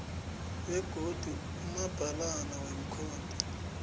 begodu umabhalana wekhotho